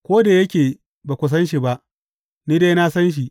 Ko da yake ba ku san shi ba, ni dai na san shi.